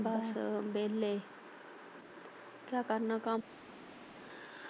ਬਸ ਵੇਲੇ ਕਿਆ ਕਰਨਾ ਕੰਮ।